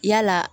Yala